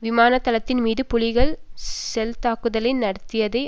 விமான தளத்தின் மீது புலிகள் செல் தாக்குதலை நடத்தியதை